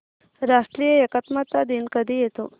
राष्ट्रीय एकात्मता दिन कधी येतो